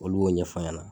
Olu b'o ɲɛf'a ɲɛna